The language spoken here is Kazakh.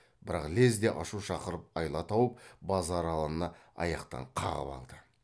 бірақ лезде ашу шақырып айла тауып базаралыны аяқтан қағып алды